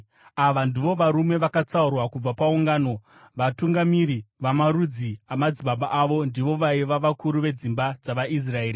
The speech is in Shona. Ava ndivo varume vakatsaurwa kubva paungano, vatungamiri vamarudzi amadzibaba avo. Ndivo vaiva vakuru vedzimba dzavaIsraeri.